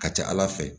Ka ca ala fɛ